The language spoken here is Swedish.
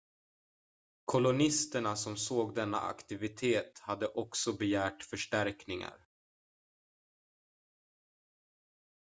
kolonisterna som såg denna aktivitet hade också begärt förstärkningar